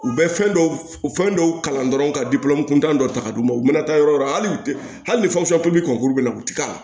U bɛ fɛn dɔw fɛn dɔw kalan dɔrɔn ka kuntan dɔ ta ka d'u ma u mana taa yɔrɔ yɔrɔ hali ni fɛn bɛ kɔnkuru bɛ la u tɛ ka